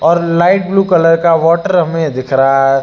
और light blue colour का water हमें दिख रहा है।